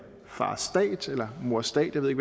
far stat eller mor stat jeg ved